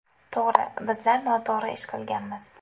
To‘g‘ri, bizlar noto‘g‘ri ish qilganmiz.